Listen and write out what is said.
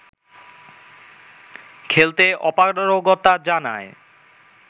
খেলতে অপারগতা জানায়